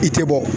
I tɛ bɔ